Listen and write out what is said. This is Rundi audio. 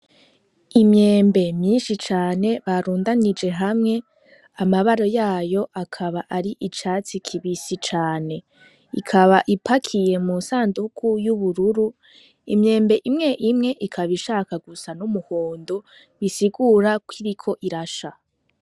Imyembe myinshi cane barundanije hamwe amabaro yayo akaba ari icatsi kibisi cane ikaba ipakiye mu sanduku y'ubururu imyembe imwe imwe ikaba ishaka gusa n'umuhondo bisigura koiriko irasha.